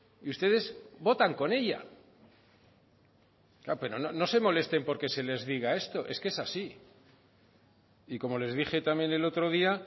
y ustedes votan con ella pero no se molesten porque se les diga esto es que es así y como les dije también el otro día